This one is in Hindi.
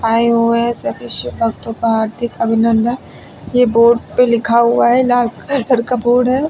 आए हुए सभी शिव भक्तों का हार्दिक अभिनंदन ये बोर्ड पे लिखा हुआ है लाल का बोर्ड है।